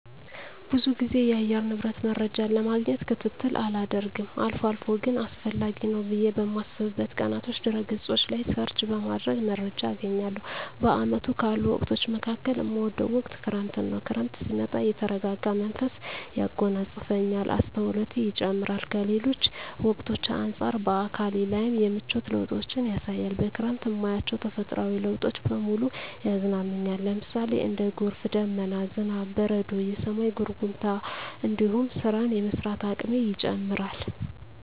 ብዙ ግዜ የአየር ንብረት መረጃን ለማግኘት ክትትል አላደርግም አልፎ አልፎ ግን አስፈላጊ ነው ብየ በማስብበት ቀናቶች ድህረ ገጾች ላይ ሰርች በማድረግ መረጃ አገኛለሁ። በአመቱ ካሉ ወቅቶች መካከል እምወደው ወቅት ክረምትን ነው። ክረምት ሲመጣ የተረጋጋ መንፈስ ያጎናጽፈኛል፣ አስተውሎቴ ይጨምራር፣ ከሌሎች ወቅቶች አንጻር በአካሌ ላይም የምቿት ለውጦችን ያሳያል፣ በክረምት እማያቸው ተፈጥሮአዊ ለውጦች በሙሉ ያዝናኑኛል ለምሳሌ:- እንደ ጎርፍ፣ ደመና፣ ዝናብ፣ በረዶ፣ የሰማይ ጉርምርምታ እንዲሁም ስራን የመስራት አቅሜ ይጨምራር